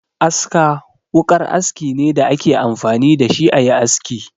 Aska wukar aski ne da a ke amfani da shi a yi aski.